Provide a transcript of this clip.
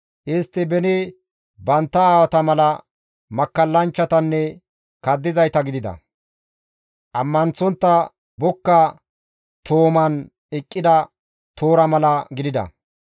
Istti beni bantta aawata mala makkallanchchatanne kaddizayta gidida; ammanththontta bokka tooman eqqida toora mala gidida.